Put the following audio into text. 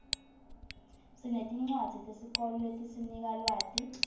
sinetincwadzi tesikolo letisinika lwati